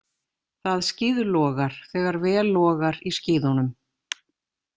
Það skíðlogar þegar vel logar í skíðunum.